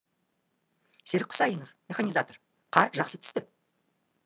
серік құсайынов механизатор қар жақсы түсті